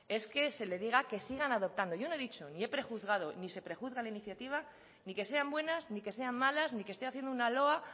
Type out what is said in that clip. es que se le diga que sigan adoptando yo no he dicho ni he prejuzgado ni se prejuzga la iniciativa ni que sean buenas ni que sean malas ni que esté haciendo una loa